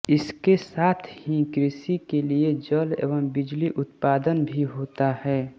इसके साथ ही कृषि के लिए जल एवं बिजली उत्पादन भी होता है